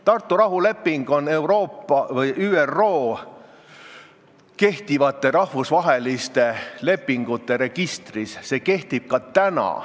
Tartu rahuleping on ÜRO kehtivate rahvusvaheliste lepingute registris, see kehtib ka täna.